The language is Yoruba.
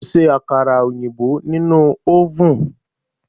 O ṣe àkàrà òyìnbó nínú ọ́vùn.